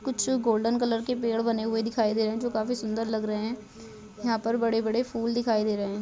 कुछ golden colour के पेड़ बने दिखाई दे रहे है जो काफी सुन्दर लग रहे है| यहाँ पर बड़े बड़े फूल दिखाई दे रहे है।